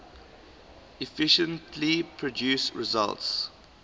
efficiently produce results